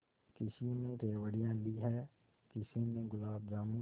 किसी ने रेवड़ियाँ ली हैं किसी ने गुलाब जामुन